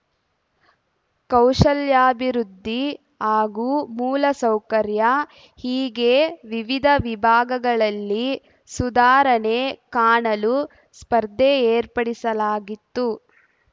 ಕೌಶಲ್ಯಾಭಿವೃದ್ಧಿ ಹಾಗೂ ಮೂಲಸೌಕರ್ಯ ಹೀಗೆ ವಿವಿಧ ವಿಭಾಗಗಳಲ್ಲಿ ಸುಧಾರಣೆ ಕಾಣಲು ಸ್ಪರ್ಧೆ ಏರ್ಪಡಿಸಲಾಗಿತ್ತು